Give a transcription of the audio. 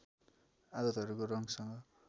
आदतहरूको रङ्ग सँग